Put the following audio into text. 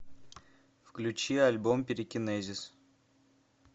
включи альбом пирокинезис